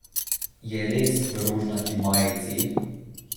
Je res v rožnati majici?